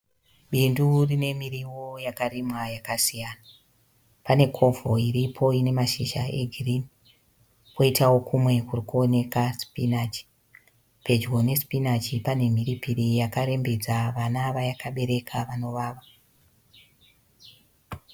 Bindu rine mirivo yakarimwa yakasiyana. Pane covo iripo ine mashizha egirini, kwoitawo kumwe kuri kuoneka sipinachi. Pedyo nesipinachi pane mhirirpiri yakarembedza vana vayakabereka vanovava.